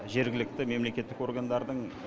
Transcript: жергілікті мемлекеттік органдардың